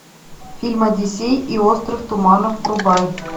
фильм одиссей и остров туманов врубай